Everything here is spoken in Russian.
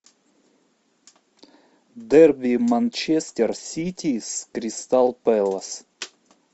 дерби манчестер сити с кристал пэлас